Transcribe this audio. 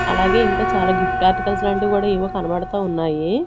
అలాగే ఇంకా చాలా గిఫ్ట్ ఆర్టికల్స్ లాంటివి కూడా ఏవో కనబడతా ఉన్నాయి.